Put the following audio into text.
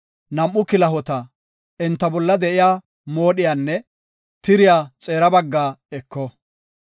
nam7u kilahota, enta bolla de7iya moodhiyanne tiriya xeera baggaa eko.